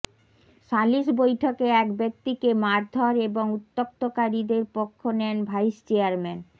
সালিশ বৈঠকে এক ব্যক্তিকে মারধর এবং উত্যক্তকারীদের পক্ষ নেন ভাইস চেয়ারম্যান